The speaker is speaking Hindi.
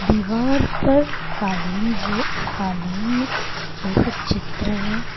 दीवार पर कालिंज कालीन जैसा चरित्र है।